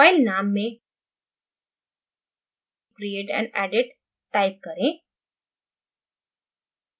file नाम में create and edit type करें